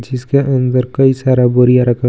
जिसके अंदर कई सारा बुरिया रखा हुआ है जी --